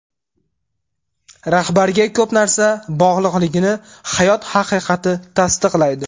Rahbarga ko‘p narsa bog‘liqligini hayot haqiqati tasdiqlaydi.